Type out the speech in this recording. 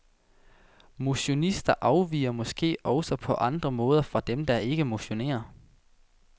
Motionister afviger måske også på andre måder fra dem, som ikke motionerer.